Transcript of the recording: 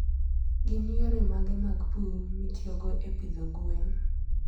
Gin yore mage mag pur mitiyogo e pidho gwen?